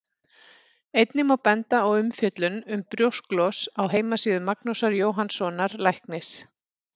Einnig má benda á umfjöllun um brjósklos á heimasíðu Magnúsar Jóhannssonar læknis.